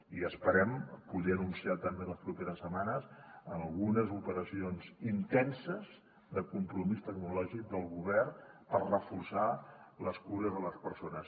i esperem poder anunciar també en les properes setmanes algunes operacions intenses de compromís tecnològic del govern per reforçar les cures a les persones